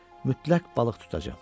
Mütləq balıq tutacam.